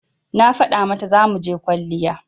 Na faɗa mata zamuje kwalliya